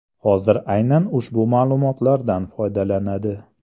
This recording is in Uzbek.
Hozir aynan ushbu ma’lumotlardan foydalanadi.